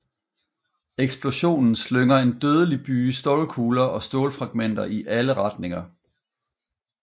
Eksplosionen slynger en dødelig byge stålkugler og stålfragmenter i alle retninger